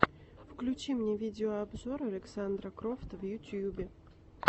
включи мне видеообзор александра крофта в ютьюбе